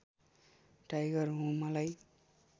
tiger हुँ मलाई